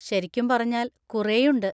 ശരിക്കും പറഞ്ഞാൽ, കുറെയുണ്ട്.